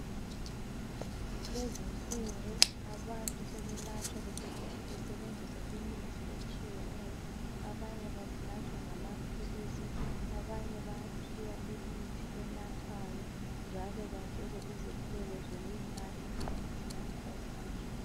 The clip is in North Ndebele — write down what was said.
Kulezi insuku abantu sebelatshwa kusetshenziswa imithi etshiyeneyo. Abanye balatshwa ngamaphilisi, abanye bayaphiwa imithi enathwayo njalo batshelwe izeluleko zokuyinatha imithi yakhona.